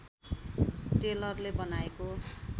टेलरले बनाएको